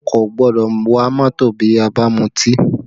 A kò gbọ́dọ̀ wa mọ́tò bí a bá mu ọtí